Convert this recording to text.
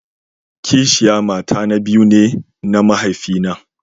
Kisiya mata na biyu ne na mahaifi na.